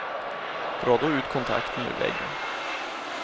Dra då ut kontakten ur väggen.